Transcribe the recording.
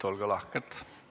Olge lahked!